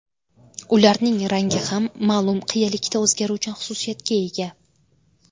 Ularning rangi ham ma’lum qiyalikda o‘zgaruvchan xususiyatga ega.